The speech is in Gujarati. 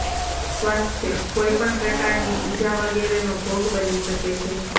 સ્વાસ્થ્યઃ કોઈપણ પ્રકારની ઇજા વગેરેનો ભોગ બની શકે છે